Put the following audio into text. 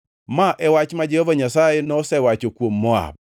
Ma e wach ma Jehova Nyasaye nosewacho kuom Moab.